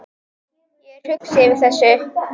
Ég er hugsi yfir þessu.